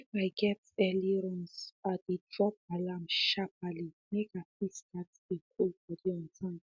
if i get early runs i dey drop alarm sharperly make i fit start dey cool body on time